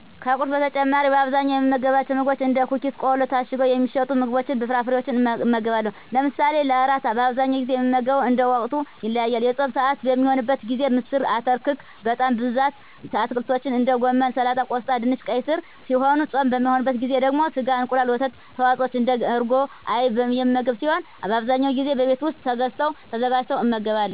ከቁርስ በተጨማሪ በአብዛኛው የምመገባቸው ምግቦች እንደ ኩኪስ ቆሎ ታሽገው የሚሸጡ ምግቦችንና ፍራፍሬወችን እመገባለሁ። ለምሳና ለእራት በአብዛኛው ጊዜ የምመገበው እንደ ወቅቱ ይለያያል። የፆም ስዓት በሚሆንበት ጊዜ ምስር አተር ክክ በጣም በብዛት አትክልቶችን እንደ ጎመን ሰላጣ ቆስጣ ድንች ቀይ ስር ሲሆኑ ፆም በማይሆንበት ጊዜ ደግሞ ስጋ እንቁላል የወተት ተዋፅወች እንደ እርጎና አይብ የምመገብ ሲሆን አብዛኛውን ጊዜ በቤት ውስጥ ተገዝተው ተዘጋጅቶ እመገባለሁ።